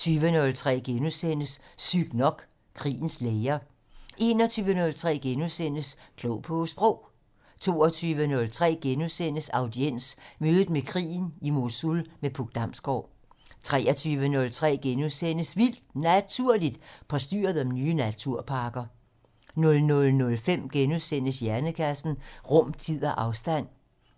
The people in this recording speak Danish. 20:03: Sygt nok: Krigens læger * 21:03: Klog på Sprog * 22:03: Audiens: Mødet med krigen - I Mosul med Puk Damsgård * 23:03: Vildt Naturligt: Postyret om nye naturparker * 00:05: Hjernekassen: Rum, tid og afstand